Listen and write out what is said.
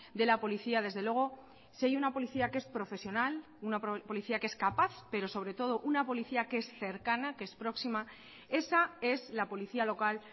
de la policía desde luego si hay una policía que es profesional una policía que es capaz pero sobre todo una policía que es cercana que es próxima esa es la policía local